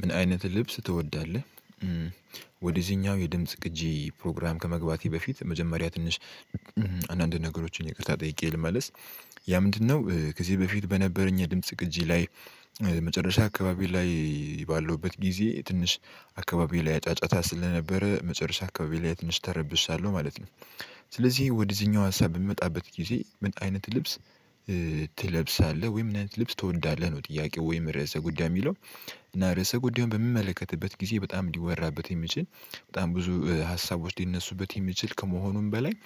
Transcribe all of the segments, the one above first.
ምን አይነት ልብስ ትወዳለህ? ወደዚህኛው የድምጽ ቅጂ ፕሮግራም ከመግባቴ በፊት መጀመሪያ ትንሽ አንዳንድ ነገሮችን ይቅርታ ጠይቄ ልመልስ። ያ ምንድነው? ከዚህ በፊት በነበረኝ የድምጽ ቅጂ ላይ መጨረሻ አካባቢ ላይ ባለውበት ጊዜ ትንሽ አካባቢ ላይ ጫጫታ ስለነበረ መጨረሻ አካባቢ ላይ ትንሽ ተረብሻለሁ ማለት ነው። ስለዚህ ወደዚህኛው ሀሳብ በምመጣበት ጊዜ ምን አይነት ልብስ ትለብሳለህ ወይም ምን አይነት ልብስ ትወዳለህ? ነው ጥያቄው ወይም ርዕሰ ጉዳይ የሚለው እና ርዕሰ ጉዳዩ በሚመለከትበት ጊዜ በጣም እንዲወራበት የሚችል በጣም ብዙ ሀሳቦች ሊነሱበት የሚችል ከመሆኑም በላይ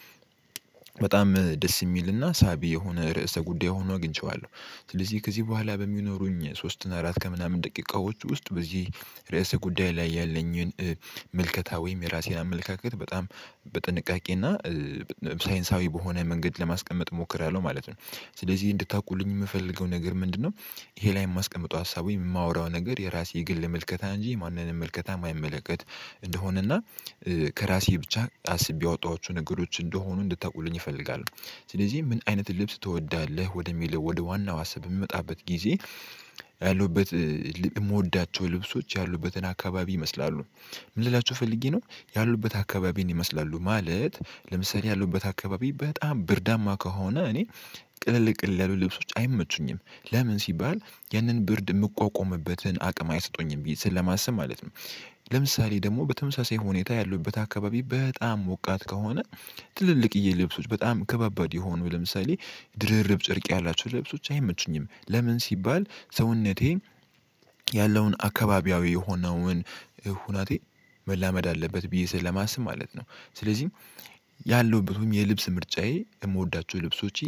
በጣም ደስ የሚልና ሳቢ የሆነ ርዕሰ ጉዳይ ሆኖ አግኝቼዋለሁ። ስለዚህ ከዚህ በኋላ በሚኖሩኝ ሶስት እና አራት ከምናምን ደቂቃዎች ውስጥ በዚህ ርዕሰ ጉዳይ ላይ ያለኝን መልከታ ወይም የራሴን አመለካከት በጣም በጥንቃቄ እና ሳይንሳዊ በሆነ መንገድ ለማስቀመጥ እሞክራለሁ ማለት ነው። ስለዚህ እንድታውቁልኝ የምፈልገው ነገር ምንድነው? ይሄ ላይ የማስቀምጠው ሀሳብ የማወራው ነገር የራሴ የግል ምልከታ እንጂ ማንንም ምልከታ አማይመለከት እንደሆነና ከራሴ ብቻ አስቤ ያወጣኋቸው ነገሮች እንደሆኑ እንድታውቁልኝ እፈልጋለሁ። ስለዚህ ምን አይነት ልብስ ትወዳለህ ወደሚለው ወደ ዋናው አስብ በምመጣበት ጊዜ ያሉበት የምወዳቸው ልብሶች ያሉበትን አካባቢ ይመስላሉ። ምን ልላችሁ ፈልጌ ነው ያሉበት አካባቢን ይመስላሉ ማለት ለምሳሌ ያሉበት አካባቢ በጣም ብርዳማ ከሆነ እኔ ቅልል ቅልል ልብሶች አይመቹኝም። ለምን ሲባል ያንን ብርድ የምቋቋምበትን አቅም አይሰጡኝም ብዬ ስለማስብ ማለት ነው። ለምሳሌ ደግሞ በተመሳሳይ ሁኔታ ያለውበት አካባቢ በጣም ሞቃት ከሆነ ትልልቅዬ ልብሶች በጣም ከባባድ የሆኑ ለምሳሌ ድርርብ ጨርቅ ያላቸው ልብሶች አይመቹኝም። ለምን ሲባል ሰውነቴን ያለውን አካባቢያዊ የሆነውን ሁናቴ መላመድ አለበት ብዬ ስለማስብ ማለት ነው። ስለዚህም ያለሁበት ወይም የልብስ ምርጫዬ የምወዳቸው ልብሶቼ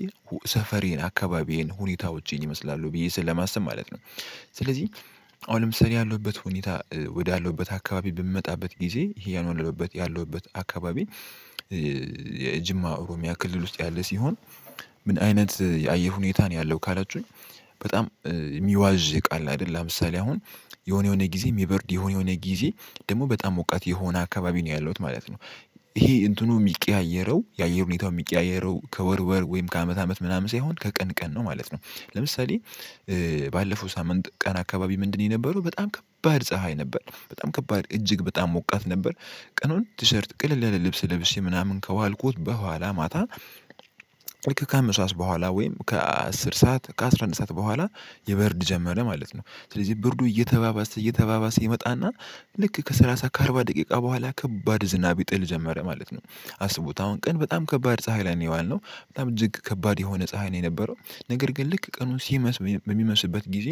ሰፈሬን አካባቢዬን ሁኔታዎቼን ይመስላሉ ብዬ ስለማሰብ ማለት ነው። ስለዚህ አሁን ለምሳሌ ያለሁበት ሁኔታ ወዳለሁበት አካባቢ በምመጣበት ጊዜ ይሄ ያልሁበት ያለውበት አካባቢ። የጅማ ኦሮሚያ ክልል ውስጥ ያለ ሲሆን ምን አይነት የአየር ሁኔታ ነው ያለው ካላችሁኝ? በጣም የሚዋዥቅ አለ አይደል ለምሳሌ አሁን የሆነ የሆነ ጊዜ የሚበርድ የሆነ የሆነ ጊዜ ደግሞ በጣም ሙቀት የሆነ አካባቢ ነው ያለሁት ማለት ነው። ይሄ እንትኑ የሚቀያየረው የአየር ሁኔታው የሚቀያየረው ከወር ወር ወይም ከአመት አመት ምናምን ሳይሆን ከቀን ቀን ነው ማለት ነው። ለምሳሌ ባለፈው ሳምንት ቀን አካባቢ ምንድነው? የነበረው በጣም ከባድ ፀሀይ ነበር በጣም ከባድ እጅግ በጣም ሞቃት ነበር። ቀኑን ቲሸርት ቅልል ልብስ ለብሼ ምናምን ከዋልኩት በኋላ ማታ ከአምስት ሰዓት በኋላ ወይም ከአስር ሰዓት ከአሥራ አንድ ሰዓት በኋላ የበርድ ጀመረ ማለት ነው ስለዚህ ብርዱ እየተባባሰ እየተባባሰ ይመጣና። ልክ ከሰላሳ ከአርባ ደቂቃ በኋላ ከባድ ዝናብ ይጥል ጀመረ ማለት ነው። አስቡት አሁን ቀን በጣም ከባድ ፀሀይ ላይ ነው የዋልነው በጣም እጅግ ከባድ የሆነ ፀሀይ ነው የነበረው። ነገር ግን ልክ ቀኑን ሲመሽም በሚመሽምበት ጊዜ።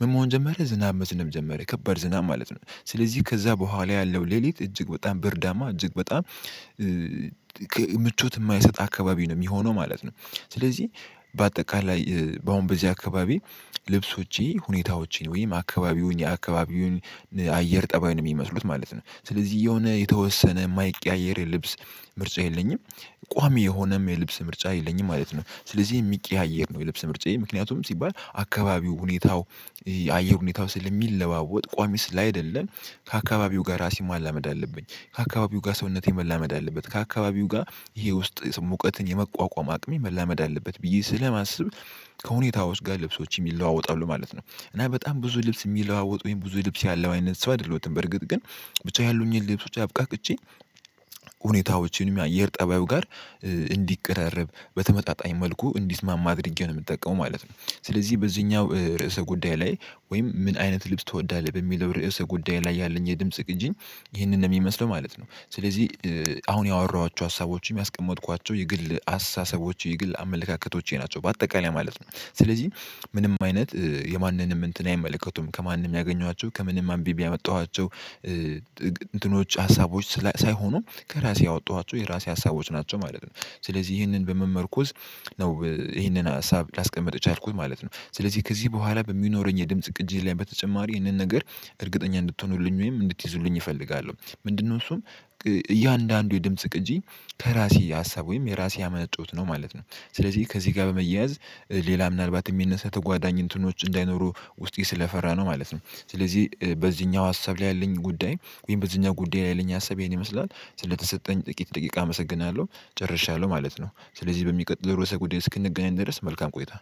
ምን መሆን ጀመረ ዝናብ መዝነብ ጀመረ ከባድ ዝናብ ማለት ነው ስለዚህ ከዛ በኋላ ያለው ሌሊት እጅግ በጣም ብርዳማ እጅግ በጣም ምቾት የማይሰጥ አካባቢ ነው የሚሆነው ማለት ነው። ስለዚህ በአጠቃላይ በአሁን በዚህ አካባቢ ልብሶቼ ሁኔታዎቼን ወይም አካባቢውን የአካባቢውን አየር ጠባዩን ነው የሚመስሉት ማለት ነው ስለዚህ የሆነ የተወሰነ የማይቀያየር ልብስ ምርጫ የለኝም። ቋሚ የሆነም የልብስ ምርጫ የለኝም ማለት ነው። ስለዚህ የሚቀያየር ነው የልብስ ምርጫዬ ምክንያቱም ሲባል አካባቢው ሁኔታው የአየር ሁኔታው ስለሚለዋወጥ ቋሚ ስላይደለን ከአካባቢው ጋር ራሴን ማላመድ አለብኝ ከአካባቢው ጋር ሰውነቴን ማላመድ አለበት ከአካባቢው ጋር ይሄ ውስጥ ሙቀትን የመቋቋም አቅሜ መላመድ አለበት ብዬ ስለማስብ። ከሁኔታዎች ጋር ልብሶች የለዋወጣሉ ማለት ነው። እና በጣም ብዙ ልብስ የሚለዋወጥ ወይም ብዙ ልብስ ያለው አይነት ሰው አይደለሁም በርግጥ ግን ብቻ ያሉኝን ልብሶች አብቃቅቼ ሁኔታዎችንም የአየር ጠባዩ ጋር እንዲቀራረብ በተመጣጣኝ መልኩ እንዲስማማ አድርጌ ነው የምጠቀመው ማለት ነው። ስለዚህ በዚህኛው ርዕሰ ጉዳይ ላይ ወይም ምን አይነት ልብስ ትወዳለህ? በሚለው ርዕሰ ጉዳይ ላይ ያለኝ የድምጽ ቅጂ ይሄንን ነው የሚመስለው ማለት ነው። ስለዚህ አሁን ያወራኋቸው ሀሳቦችም የስቀምጥኳቸው የግል አስተሳሰቦች የግል አመለካከቶቼ ናቸው በአጠቃላይ ማለት ነው። ስለዚህ ምንም አይነት የማንንም እንትን አይመለከቱም ከማንም ያገኟቸው ከምንም አንብቤ ያመጣኋቸው። እንትኖች ሀሳቦች ሳይሆኑም ከራሴ ያወጣኋቸው የራሴ ሀሳቦች ናቸው ማለት ነው። ስለዚህ ይህንን በመመርኮዝ ነው ይሄንን ሀሳብ ላስቀመጥ ቻልኩት ማለት ነው። ስለዚህ ከዚህ በኋላ በሚኖረኝ የድምጽ ቅጂ ላይ በተጨማሪ ይህንን ነገር እርግጠኛ እንድትሆኑልኝ ወይም እንድትይዙልኝ እፈልጋለሁ። ምንድነው? እሱም እያንዳንዱ የድምጽ ቅጂ ከራሴ ሀሳብ ወይም የራሴ የአመነጨውት ነው ማለት ነው። ስለዚህ ከዚህ ጋር በመያዝ ሌላ ምናልባት የሚነሳ ተጓዳኝ እንትኖች እንዳይኖሩ ውስጤ ስለፈራ ነው ማለት ነው። ስለዚህ በዚህኛው ሀሳብ ላይ ያለኝ ጉዳይ ወይም በዚህኛው ጉዳይ ላይ ያለኝ ሀሳብ ይሄን ይመስላል ስለተሰጠኝ ጥቂት ደቂቃ አመሰግናለሁ። ጨርሻለሁ ማለት ነው። ስለዚህ በሚቀጥለው ርዕሰ ጉዳይ እስክንገናኝ ድረስ መልካም ቆይታ